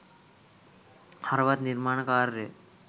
හරවත් නිර්මාණ කාර්යය